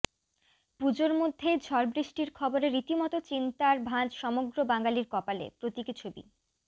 পুজোর মধ্যেই ঝড়বৃষ্টির খবরে রীতিমত চিন্তার ভাঁজ সমগ্র বাঙালির কপালে প্রতীকী ছবি